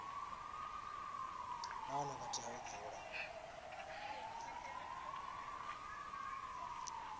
nahone vha tea u dzula